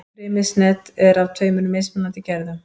Frymisnet er af tveimur mismunandi gerðum.